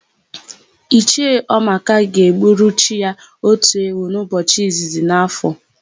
Ichie Ọmaka ga-egburu chi ya otu ewu n'ụbọchị izizi n'áfọ̀.